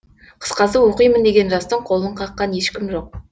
қысқасы оқимын деген жастың қолын қаққан ешкім жоқ